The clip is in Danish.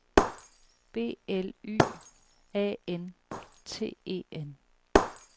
B L Y A N T E N